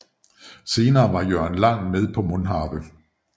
Senere var Jørgen Lang med på Mundharpe